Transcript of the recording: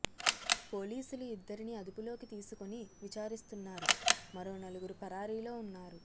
పోలీసులు ఇద్దరిని అదుపులోకి తీసుకొని విచారిస్తున్నారు మరో నలుగురు పరారీలో ఉన్నారు